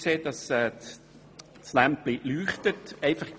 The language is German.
Ich sehe, dass das Lämpchen blinkt.